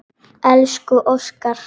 Elsku Óskar.